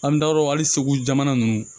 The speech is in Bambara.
An da o hali segu jamana nunnu